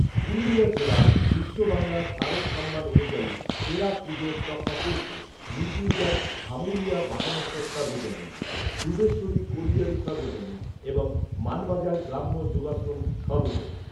পুরুলিয়া জেলায় বিশ্ববাংলা শারদ সম্মান অনুযায়ী সেরা পুজোর তকমা পেয়েছে নিতুড়িয়ার ভামুড়িয়া বাথানেশ্বর সর্বজনীন দুবেশ্বরী কোলিয়ারি সর্বজনীন ছাড়াও মানবাজার গ্রাম্য যোগাশ্রম সর্বজনীন।